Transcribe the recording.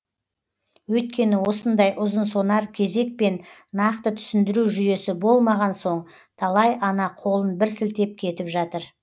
өйткені осындай ұзынсонар кезек пен нақты түсіндіру жүйесі болмаған соң талай ана қолын бір сілтеп кетіп жатыр